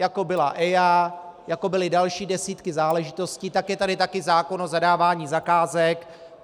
Jako byla EIA, jako byly další desítky záležitostí, tak je tady také zákon o zadávání zakázek.